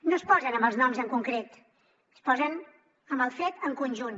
no es posen amb els noms en concret es posen amb el fet en conjunt